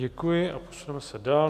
Děkuji a posuneme se dál.